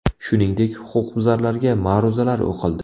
Shuningdek, huquqbuzarlarga ma’ruzalar o‘qildi.